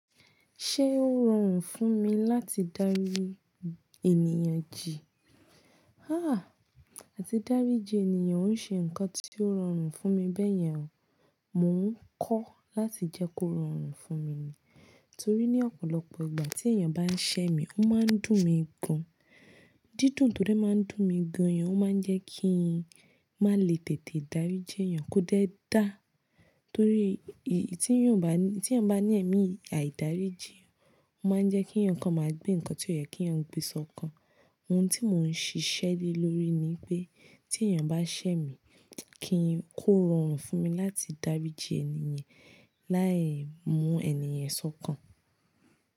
Ṣé ó rọrùn fún mi láti dárí ènìyàn jì? Háà! Àti dáríjin ènìyàn ò n ṣe nǹkan tí ó rọrùn fún mi bẹ́yẹn o. Mò ń kọ́ láti jẹ́ kó rọrùn fún mi ni. Torí ní ọ̀pọ̀lọpọ̀ ìgbà tí èèyàn bá ń ṣẹ́ mi, ó máa ń dùn mí gan. Dídùn tó dé máa ń dùn mi gan yen, ó máa ń jẹ́ kíi n má lè tètè dáríjin ènìyàn, kó dé dáa. Torí tí èèyàn bá ní ẹmi àìdáríji, ó máa ń jẹ́ kí èèyàn kan máa gbé nǹkan tí ó yẹ kí èèyàn gbèsò kan. Ohun tí mò ń ṣiṣẹ́ lé lórí ni pé tí èèyàn bá ṣẹ́ mi, kí n kó rọrùn fún mi láti dáríjin ènìyàn láì mú ènì yen sọ̀kan.